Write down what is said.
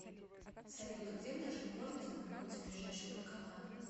салют а где в нашем городе находится ближайший банкомат